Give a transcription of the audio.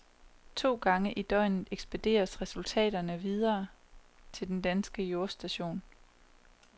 To gange i døgnet ekspederes resultaterne videre til den danske jordstation.